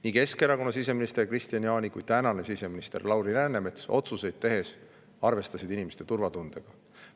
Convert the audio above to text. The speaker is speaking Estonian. Nii Keskerakonna siseminister Kristian Jaani kui ka tänane siseminister Lauri Läänemets arvestasid otsuseid tehes inimeste turvatundega.